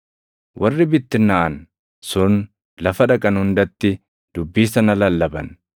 Warri bittinnaaʼan sun lafa dhaqan hundatti dubbii sana lallaban.